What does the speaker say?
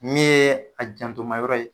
Min ye a janto ma yɔrɔ ye